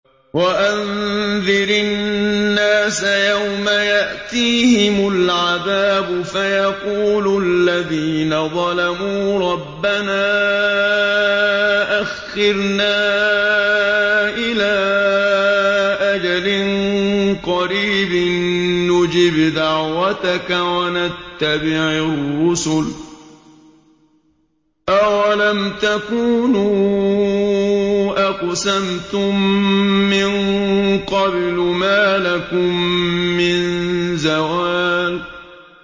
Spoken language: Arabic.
وَأَنذِرِ النَّاسَ يَوْمَ يَأْتِيهِمُ الْعَذَابُ فَيَقُولُ الَّذِينَ ظَلَمُوا رَبَّنَا أَخِّرْنَا إِلَىٰ أَجَلٍ قَرِيبٍ نُّجِبْ دَعْوَتَكَ وَنَتَّبِعِ الرُّسُلَ ۗ أَوَلَمْ تَكُونُوا أَقْسَمْتُم مِّن قَبْلُ مَا لَكُم مِّن زَوَالٍ